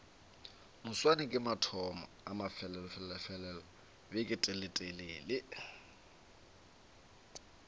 moswane ke mathomo a mafelelobeketelele